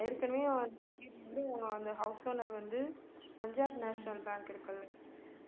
ஏற்கனவே அந்த house owner வந்து பஞ்சாப் நேஷ்னல் பேங்க் இருக்கில்ல